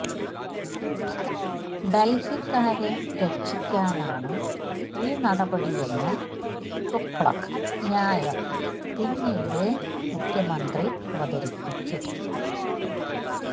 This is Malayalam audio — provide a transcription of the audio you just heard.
ഡൽഹിക്കാരെ രക്ഷിക്കാനാണ് ഈ നടപടിയെന്നു തുഗ്ലക്ക് ന്യായം പിന്നീട് മുഖ്യമന്ത്രി അവതരിപ്പിച്ചു